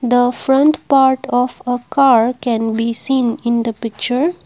the front part of a car can be seen in the picture.